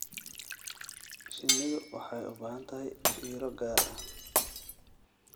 Shinnidu waxay u baahan tahay fiiro gaar ah.